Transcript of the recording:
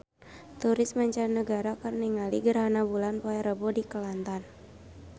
Turis mancanagara keur ningali gerhana bulan poe Rebo di Kelantan